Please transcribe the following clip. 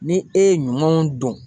Ni e ye ɲumanw dɔn